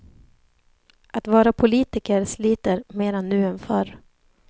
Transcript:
Att vara politiker sliter mera nu än förr.